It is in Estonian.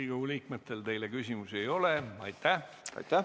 Riigikogu liikmetel teile küsimusi ei ole.